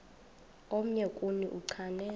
omnye kuni uchane